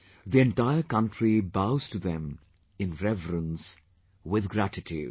The entire country bows to them in reverence, with gratitude